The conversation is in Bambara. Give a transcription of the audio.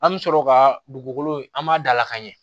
An bɛ sɔrɔ ka dugukolo an b'a dalakan ɲɛ